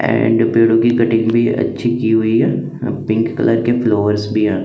and पेड़ो की cutting भी अच्छी की हुई है पिंक कलर के फ्लोवर्स भी आ--